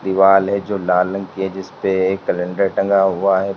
Wall है जो लाल रंग कि है जिसपे एक कैलेंडर टंगा हुआ है।